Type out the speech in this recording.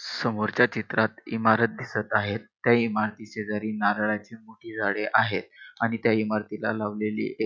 समोरच्या चित्रात इमारत दिसत आहेत त्या इमारती शेजारी नारळाची मोठी आहेत आणि त्या इमारतीला लावलेली एक--